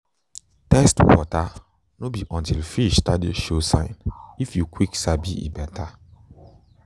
test water no be until fish start to show sign if you quick sabi e better